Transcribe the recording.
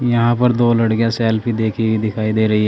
यहां पर दो लड़कियां सेल्फी देखी दिखाई दे रही है।